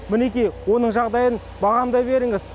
мінекей оның жағдайын бағамдай беріңіз